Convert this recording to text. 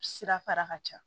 Sira fara ka ca